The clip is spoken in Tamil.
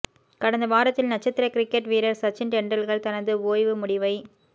கடந்த வாரத்தில் நட்சத்திர கிரிக்கெட் வீரர் சச்சின் டெண்டுல்கர் தனது ஓய்வு முடிவை